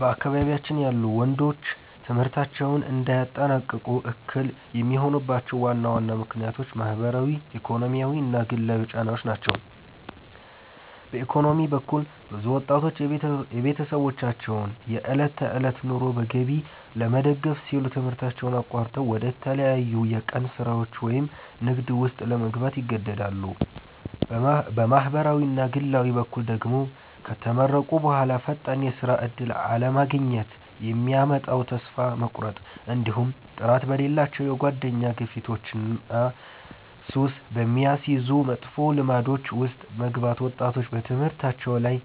በአካባቢያችን ያሉ ወንዶች ትምህርታቸውን እንዳያጠናቅቁ እክል የሚሆኑባቸው ዋና ዋና ምክንያቶች ማኅበራዊ፣ ኢኮኖሚያዊና ግላዊ ጫናዎች ናቸው። በኢኮኖሚ በኩል፣ ብዙ ወጣቶች የቤተሰባቸውን የዕለት ተዕለት ኑሮ በገቢ ለመደገፍ ሲሉ ትምህርታቸውን አቋርጠው ወደ ተለያዩ የቀን ሥራዎች ወይም ንግድ ውስጥ ለመግባት ይገደዳሉ። በማኅበራዊና ግላዊ በኩል ደግሞ፣ ከተመረቁ በኋላ ፈጣን የሥራ ዕድል አለማግኘት የሚያመጣው ተስፋ መቁረጥ፣ እንዲሁም ጥራት በሌላቸው የጓደኛ ግፊቶችና ሱስ በሚያስይዙ መጥፎ ልማዶች ውስጥ መግባት ወጣቶች በትምህርታቸው ላይ